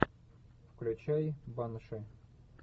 включай банши